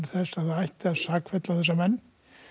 ætti að sakfella þessa menn